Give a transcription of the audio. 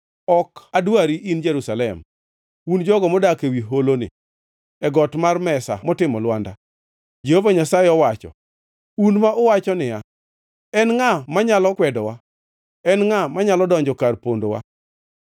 Ok adwari, in Jerusalem, un jogo modak ewi holoni, e got mar mesa motimo lwanda, Jehova Nyasaye owacho; un ma uwacho niya, “En ngʼa manyalo kwedowa? En ngʼa manyalo donjo kar pondowa?”